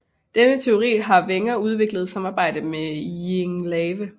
Denne teori har Wenger udviklet i samarbejde med Jean Lave